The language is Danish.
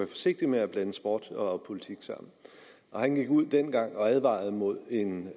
forsigtig med at blande sport og politik sammen og han gik ud dengang og advarede mod en